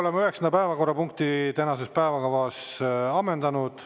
Oleme üheksanda päevakorrapunkti tänases päevakavas ammendanud.